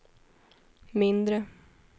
mindre